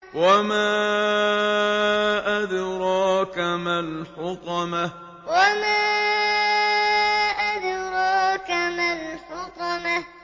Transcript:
وَمَا أَدْرَاكَ مَا الْحُطَمَةُ وَمَا أَدْرَاكَ مَا الْحُطَمَةُ